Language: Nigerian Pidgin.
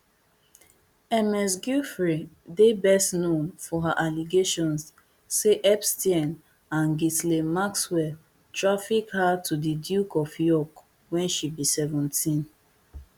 ms giuffre dey best known for her allegations say epstein and ghislaine maxwell traffic her to di duke of york when she be seventeen